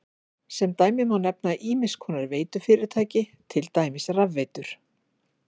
Sem dæmi má nefna ýmiss konar veitufyrirtæki, til dæmis rafveitur.